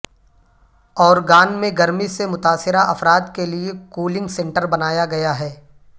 Oregon میں گرمی سے متاثرہ افراد کے لیے کولنگ سنٹر بنایا گیا ہے